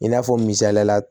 I n'a fɔ misaliya la